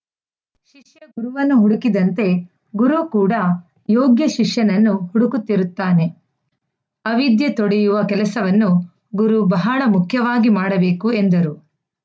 ಶಿಷ್ಯ ಗುರುವನ್ನು ಹುಡುಕಿದಂತೆ ಗುರು ಕೂಡ ಯೋಗ್ಯ ಶಿಷ್ಯನನ್ನು ಹುಡುಕುತ್ತಿರುತ್ತಾನೆ ಅವಿದ್ಯೆ ತೊಡೆಯುವ ಕೆಲಸವನ್ನು ಗುರು ಬಹಳ ಮುಖ್ಯವಾಗಿ ಮಾಡಬೇಕು ಎಂದರು